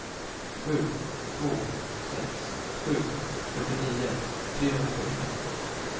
sju två sex sju fyrtionio trehundrafyrtiofem